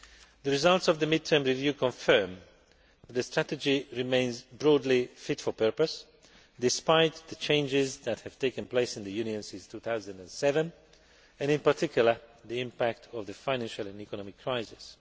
The results of the mid term review confirm that the strategy remains broadly fit for purpose, despite the changes that have taken place in the Union since 2007, and in particular the impact of the financial and economic crisis.